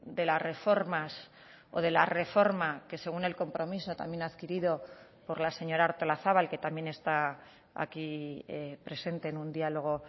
de las reformas o de la reforma que según el compromiso también adquirido por la señora artolazabal que también está aquí presente en un diálogo